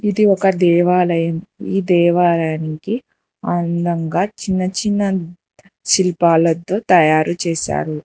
ఇది ఒక దేవాలయం ఈ దేవాలయానికి అందంగా చిన్న చిన్న శిల్పాలతో తయారు చేశారు.